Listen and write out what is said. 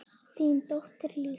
Þín dóttir Lísa.